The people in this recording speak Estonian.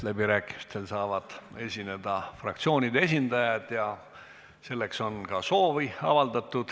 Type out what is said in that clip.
Läbirääkimistel saavad esineda fraktsioonide esindajad ja selleks on ka soovi avaldatud.